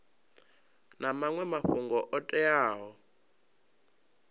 na maṅwe mafhungo o teaho